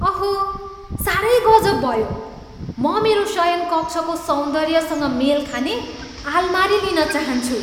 अहो! साह्रै गजब भयो। म मेरो शयनकक्षको सौन्दर्यसँग मेल खाने आलमारी लिन चाहन्छु।